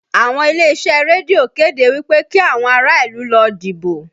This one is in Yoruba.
Àwọn ilé-iṣẹ́ rédíò kéde wí pé kí àwọn ará ìlú lọ dìbò